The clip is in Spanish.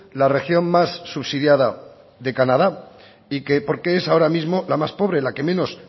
la región más subsidiada de canadá y que porque es ahora mismo la más pobre la que menos